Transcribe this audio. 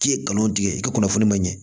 K'i ye nkalon tigɛ i ka kunnafoni ma ɲɛ